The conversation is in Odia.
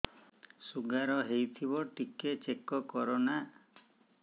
ଶୁଗାର ହେଇଥିବ ଟିକେ ଚେକ କର ନା